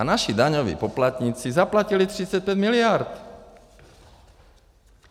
A naši daňoví poplatníci zaplatili 35 miliard.